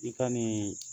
I ka nin